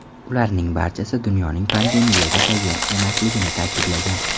Ularning barchasi dunyoning pandemiyaga tayyor emasligini ta’kidlagan.